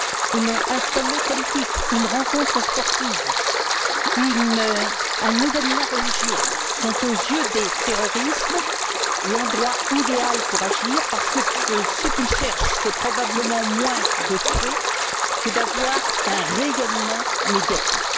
Un sommet politique, une rencontre sportive, un événement religieux sont, aux yeux des terroristes, l'endroit idéal pour agir parce que ce qu'ils cherchent, c'est probablement moins de tuer que d'avoir un rayonnement médiatique.